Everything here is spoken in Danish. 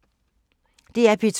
DR P2